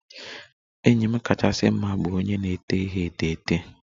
Enyi m kachasị mma bụ onye na-ete ihe etemeete.